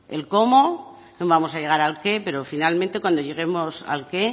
el cómo no vamos a llegar al qué pero finalmente cuando lleguemos al qué